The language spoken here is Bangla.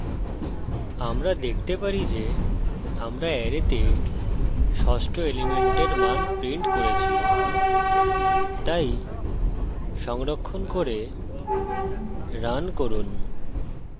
আমরা দেখতে পারি যে আমরা অ্যারেতে ষষ্ঠ element মান printing করছি তাই সংরক্ষণ করে রান করুন